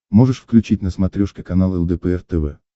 можешь включить на смотрешке канал лдпр тв